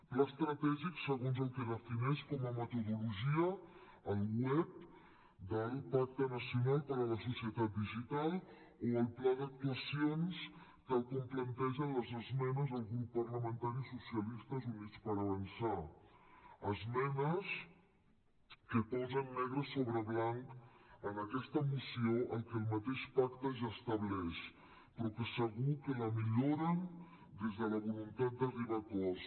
pla estratègic segons el que defineix com a metodologia el web del pacte nacional per a la societat digital o el pla d’actuacions tal com plantegen les esmenes del grup parlamentari socialistes i units per avançar esmenes que posen negre sobre blanc en aquesta moció el que el mateix pacte ja estableix però que segur que la milloren des de la voluntat d’arribar a acords